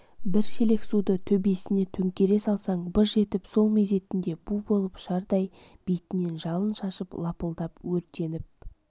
бір шелек суды төбесіне төңкере салсаң быж етіп сол мезетінде бу болып ұшардай бетінен жалын шашып лапылдап өртеніп